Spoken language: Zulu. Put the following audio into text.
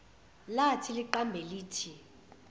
lathi liqambe lithi